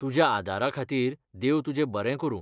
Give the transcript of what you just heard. तुज्याआदाराखातीर देव तुजें बरें करूं.